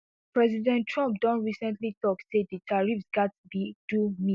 president trump don recently tok say di tariffs gatz be do me